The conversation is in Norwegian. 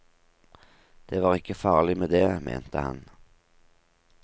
Det var ikke farlig med det, mente han.